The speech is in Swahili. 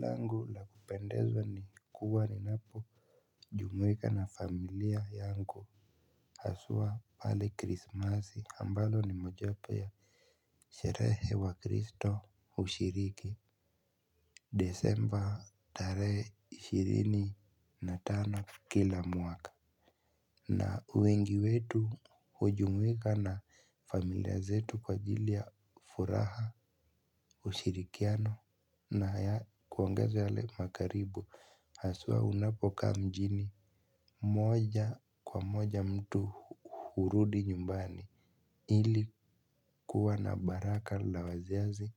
Langu la kupendezwa ni kuwa ninapo jumuika na familia yangu. Haswa pale krismasi ambalo ni moja wapo ya sherehe wakristo hushiriki Desember tarehe ishirini na tano kila mwaka. Na wengi wetu hujumuika na familia zetu kwa ajili ya furaha ushirikiano na kuangaza yale makaribu haswa unapokaa mjini moja kwa moja mtu hurudi nyumbani ili kuwa na baraka la wazazi